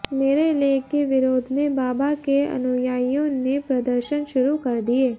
मेरे लेख के विरोध में बाबा के अनुयायियों ने प्रदर्शन शुरू कर दिये